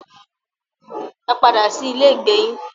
Ẹ padà sí ilé ìgbé yín.